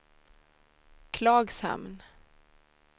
Klagshamn